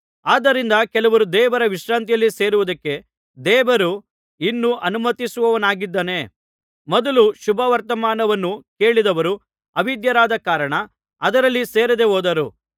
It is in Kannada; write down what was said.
ಆದ್ದರಿಂದ ಕೆಲವರು ದೇವರ ವಿಶ್ರಾಂತಿಯಲ್ಲಿ ಸೇರುವುದಕ್ಕೆ ದೇವರು ಇನ್ನೂ ಅನುಮತಿಸುವವನಾಗಿದ್ದಾನೆ ಮೊದಲು ಶುಭವರ್ತಮಾನವನ್ನು ಕೇಳಿದವರು ಅವಿಧೇಯರಾದ ಕಾರಣ ಅದರಲ್ಲಿ ಸೇರದೆಹೋದರು